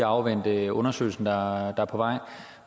afvente undersøgelsen der er på vej